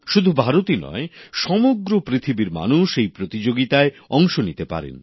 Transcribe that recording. শুধু ভারতই নয় সমগ্র পৃথিবীর মানুষ এই প্রতিযোগিতায় অংশ নিতে পারেন